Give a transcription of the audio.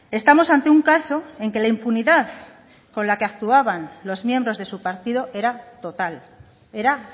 estamos ante un caso en que la impunidad con la que actuaban los miembros de su partido era total era